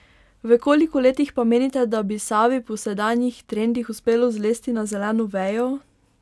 V koliko letih pa menite, da bi Savi po sedanjih trendih uspelo zlesti na zeleno vejo?